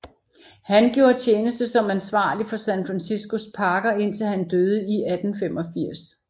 Han gjorde tjeneste som ansvarlig for San Franciscos parker indtil han døde i 1885